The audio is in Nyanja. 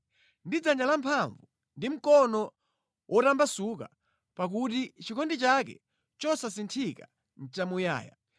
Ndi dzanja lamphamvu ndi mkono wotambasuka, pakuti chikondi chake chosasinthika nʼchamuyaya.